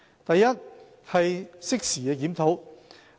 第一，適時的檢討。